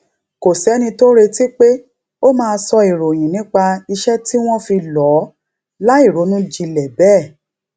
kò séni tó retí pé ó máa sọ ìròyìn nípa iṣé tí wón fi lò ó láìronú jinlè béè